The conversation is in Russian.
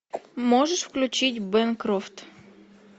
можешь включить бэнкрофт